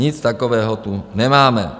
Nic takového tu nemáme.